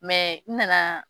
n nana.